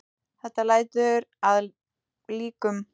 Þetta lætur að líkum.